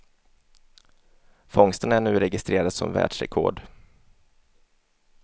Fångsten är nu registrerad som världsrekord.